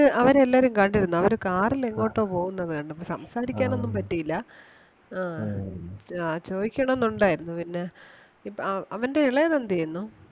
അവരെ എല്ലാരേം കണ്ടിരുന്നു അവര് car ൽ എങ്ങോട്ടോ പോകുന്നത് കണ്ടു. അപ്പം സംസാരിക്കാൻ ഒന്നും പറ്റിയില്ല ആഹ് ചോ~ചോദിക്കണം എന്നുണ്ടായിരുന്നു പിന്നെ ഇപ്പം അവന്റെ ഇളയത് എന്ത് ചെയ്യുന്നു?